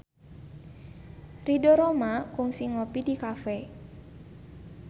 Ridho Roma kungsi ngopi di cafe